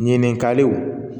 Ɲininkaliw